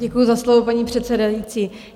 Děkuji za slovo, paní předsedající.